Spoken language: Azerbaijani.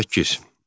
Səkkiz.